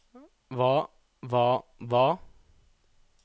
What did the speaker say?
hva hva hva